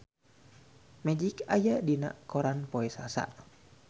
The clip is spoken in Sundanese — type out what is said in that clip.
Magic aya dina koran poe Salasa